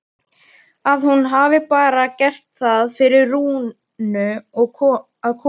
Að hún hafi bara gert það fyrir Rúnu að koma.